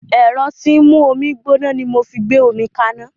Ẹ̀rọ tí ń mú omi gbóná ni mo fi gbé omi kaná